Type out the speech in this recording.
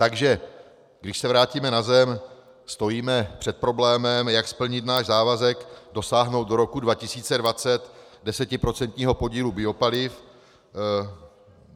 Takže když se vrátíme na zem, stojíme před problémem, jak splnit náš závazek dosáhnout do roku 2020 desetiprocentního podílu biopaliv.